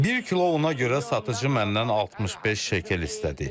Bir kilo una görə satıcı məndən 65 şekel istədi.